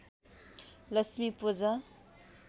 Lakshmi Puja